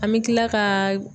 An bɛ tila kaa